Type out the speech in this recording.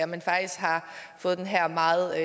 men faktisk har fået den her meget